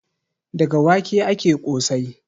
Daga wake ake ƙosai.